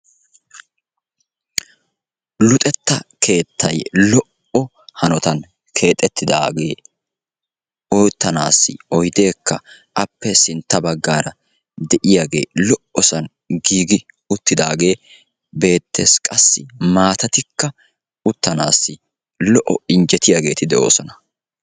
luxxetta keettay lo"o hanottani keexetidage uttanassi oydekka giigidage beettesi qassi maattaykka lo"iyage beettessi.